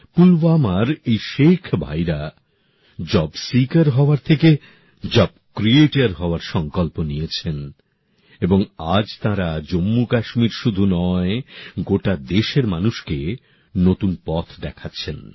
পুলওয়ামার এই শেখ ভাইরা job seeker হওয়ার থেকে জব ক্রিয়েটর হওয়ার সংকল্প নিয়েছেন এবং আজ তাঁরা জম্মু কাশ্মীরেই শুধু নয় গোটা দেশের মানুষকে নতুন পথ দেখাচ্ছেন